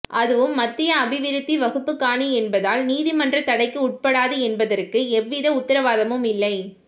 அதுவும் மத்திய அபிவிருத்தி வகுப்புக்காணி என்பதால் நீதிமன்ற தடைக்கு உட்படாது என்பதற்கு எந்தவித உத்தரவாதமும் இல்லை